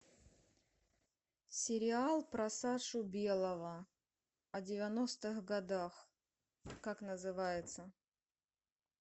сериал про сашу белого о девяностых годах как называется